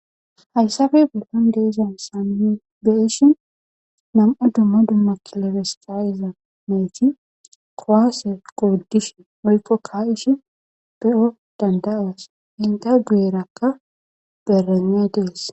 hayssafe bedlon deizan saan beishin nam7o dumma dumma kilefestayiza meeti kowaase qouddishi oykko ka ishi be7o danda7aas inta geerakka berenney dees